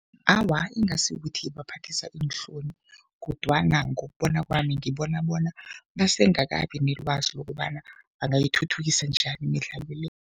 Awa, ingasikuthi ibaphathisa iinhloni kodwana ngokubona kwami, ngibona bona basengakabi nelwazi lokobana bangayithuthukisa njani imidlalo le.